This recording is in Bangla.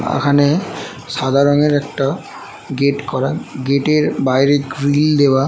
বাগানে সাদা রঙের একটা গেট করা। গেট এর বাইরে গ্রিল দেওয়া।